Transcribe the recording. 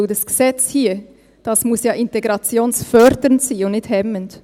Denn dieses Gesetz hier, das muss ja integrationsfördernd sein und nicht -hemmend.